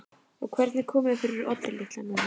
Og hvernig komið er fyrir Oddi litla núna.